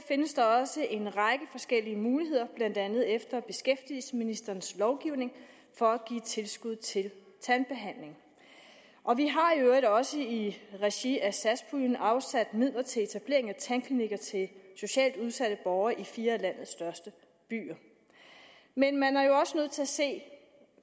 findes der også en række forskellige muligheder blandt andet efter beskæftigelsesministerens lovgivning for at give tilskud til tandbehandling og vi har i øvrigt også i regi af satspuljen afsat midler til etablering af tandklinikker til socialt udsatte borgere i fire af landets største byer men man er jo også nødt til at se